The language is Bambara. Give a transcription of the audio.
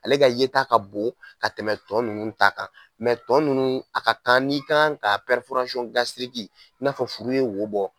Ale ka yeta ka bon ka tɛmɛ tɔn ninnu ta kan tɔ ninnu a ka kan n'i kan ka n'a fɔ furu ye wo bɔ